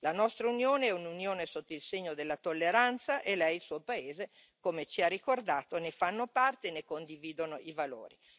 La nostra Unione è un'Unione sotto il segno della tolleranza e Lei e il Suo paese, come ci ha ricordato, ne fanno parte e ne condividono i valori.